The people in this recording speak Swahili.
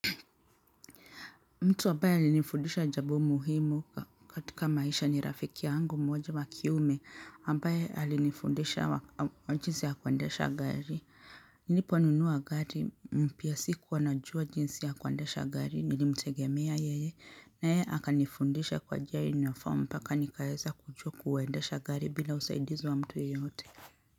Mtu ambaye alinifundisha jambo muhimu katika maisha ni rafiki yangu mmoja wa kiume ambaye alinifundisha wa jinsi ya kuendesha gari. Niliponunua gari mpya sikuwa najua jinsi ya kuandesha gari nilimtegemea yeye na yeye akanifundisha kwa njia uniform mpaka nikaeza kujua kuendesha gari bila usaidizi wa mtu yeyote.